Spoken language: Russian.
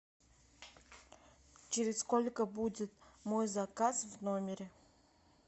через сколько будет мой заказ в номере